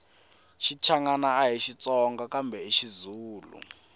xichangani ahi xitsonga kambe xizulu